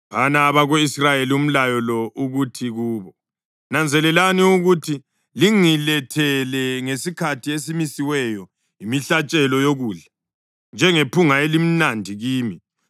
“Phana abako-Israyeli umlayo lo uthi kubo, ‘Nanzelelani ukuthi lingilethele ngesikhathi esimisiweyo imihlatshelo yokudla, njengephunga elimnandi kimi.’